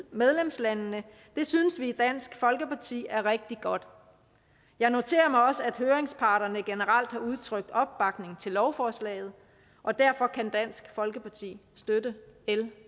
medlemslandene synes vi i dansk folkeparti er rigtig godt jeg noterer mig også at høringsparterne generelt har udtrykt opbakning til lovforslaget og derfor kan dansk folkeparti støtte l